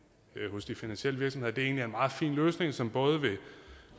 hos de finansielle virksomheder egentlig er en meget fin løsning som vil